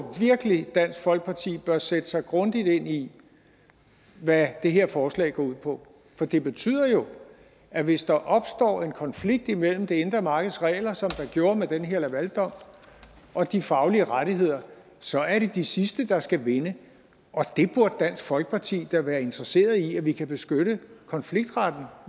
virkelig at dansk folkeparti bør sætte sig grundigt ind i hvad det her forslag går ud på for det betyder jo at hvis der opstår en konflikt imellem det indre markeds regler som der gjorde med den her lavaldom og de faglige rettigheder så er det de sidste der skal vinde dansk folkeparti da være interesserede i at vi kan beskytte konfliktretten